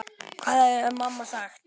Hvað hefði mamma sagt?